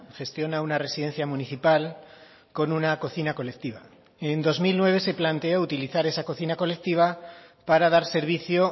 gestiona una residencia municipal con una cocina colectiva en dos mil nueve se planteó utilizar esa cocina colectiva para dar servicio